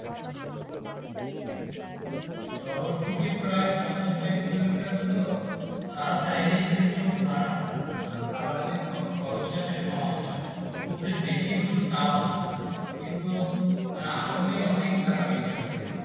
শহর থেকে প্রায় পঞ্চাশ ষাট কিলোমিটার তো তা চাইলেই কিন্তু ভাড়া খাবারের খরচ তা যেটা কমাতে পারে খুব যে বেশি দূর তও না কিন্তু তারা আসলেই অনেক টাকা বেশি রাখছে